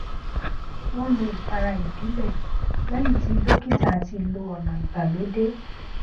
wọn lo ìpara ìbílẹ lẹyìn tí dókítà ti lo ọnà ìgbàlódé